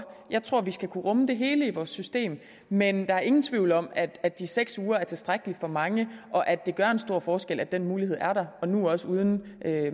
jeg tror vi skal kunne rumme det hele i vores system men der er ingen tvivl om at at de seks uger er tilstrækkeligt for mange og at det gør en stor forskel at den mulighed er der og nu også uden